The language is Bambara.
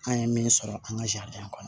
An ye min sɔrɔ an ka kɔnɔ